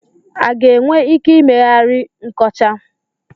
A ga-enwe ike ị meghari nkọcha?